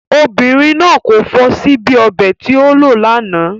Obìnrin náà kò fọ síbí ọbẹ̀ tí o lò lánàá.